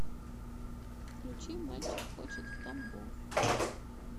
включи мальчик хочет в тамбов